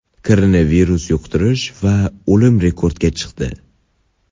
Koronavirus yuqtirish va o‘lim rekordga chiqdi.